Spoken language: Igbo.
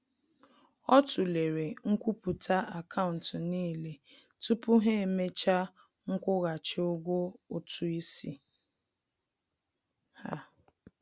Ọ tụlere nkwupụta akaụntụ n'ile tupu ha emecha nkwụghachi ụgwọ ụtụ isi ha